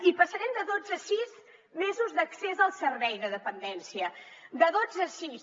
i passarem de dotze a sis mesos d’accés al servei de dependència de dotze a sis